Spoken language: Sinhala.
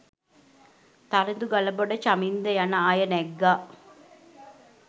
තරිඳු ගලබොඩ චමින්ද යන අය නැග්ගා